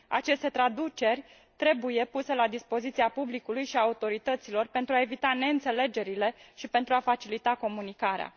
Aceste traduceri trebuie puse la dispoziția publicului și a autorităților pentru a evita neînțelegerile și pentru a facilita comunicarea.